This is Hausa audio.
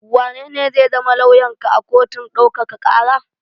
Wanene zai zama lauyanka a kotun ɗaukaka ƙara?